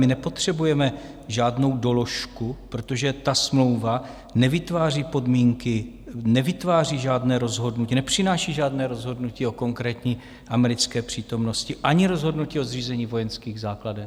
My nepotřebujeme žádnou doložku, protože ta smlouva nevytváří podmínky, nevytváří žádné rozhodnutí, nepřináší žádné rozhodnutí o konkrétní americké přítomnosti ani rozhodnutí o zřízení vojenských základen.